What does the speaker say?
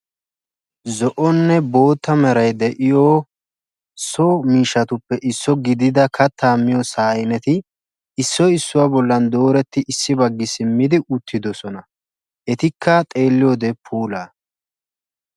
Hardin Doritos widowed Fidele Odile phones